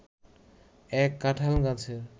এক কাঁঠাল গাছের